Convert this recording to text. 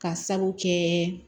Ka sabu kɛ